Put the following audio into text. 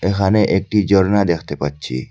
এখানে একটি ঝর্ণা দেখতে পাচ্ছি।